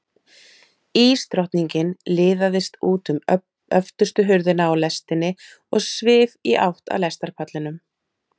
Ísdrottningin liðaðist út um öftustu hurðina á lestinni og svif í átt að lestarpallinum.